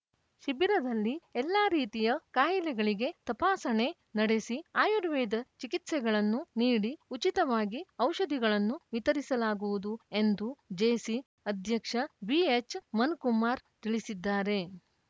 ಶಿಬಿರದಲ್ಲಿ ಎಲ್ಲಾ ರೀತಿಯ ಕಾಯಿಲೆಗಳಿಗೆ ತಪಾಸಣೆ ನಡೆಸಿ ಆಯುರ್ವೇದ ಚಿಕಿತ್ಸೆಗಳನ್ನು ನೀಡಿ ಉಚಿತವಾಗಿ ಔಷಧಿಗಳನ್ನು ವಿತರಿಸಲಾಗುವುದು ಎಂದು ಜೇಸಿ ಅಧ್ಯಕ್ಷ ಬಿಎಚ್‌ಮನುಕುಮಾರ್‌ ತಿಳಿಸಿದ್ದಾರೆ